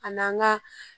A n'an ka